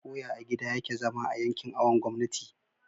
koya a gida yake zama a yankin awon gomnati